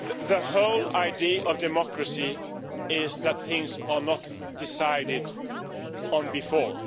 The whole idea of democracy is that things are not decided on before.